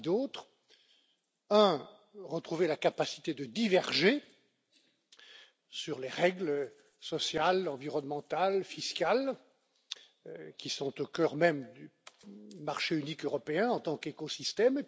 D'abord, retrouver la capacité de diverger sur les règles sociales, environnementales, fiscales qui sont au cœur même du marché unique européen en tant qu'écosystème.